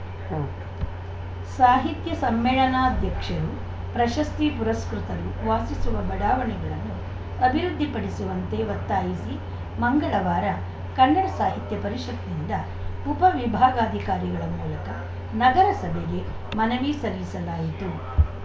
ಉಂ ಸಾಹಿತ್ಯ ಸಮ್ಮೇಳನಾಧ್ಯಕ್ಷರು ಪ್ರಶಸ್ತಿ ಪುರಸ್ಕೃತರು ವಾಸಿಸುವ ಬಡಾವಣೆಗಳನ್ನು ಅಭಿವೃದ್ಧಿಪಡಿಸುವಂತೆ ಒತ್ತಾಯಿಸಿ ಮಂಗಳವಾರ ಕನ್ನಡ ಸಾಹಿತ್ಯ ಪರಿಷತ್‌ನಿಂದ ಉಪವಿಭಾಗಾಧಿಕಾರಿಗಳ ಮೂಲಕ ನಗರಸಭೆಗೆ ಮನವಿ ಸಲ್ಲಿಸಲಾಯಿತು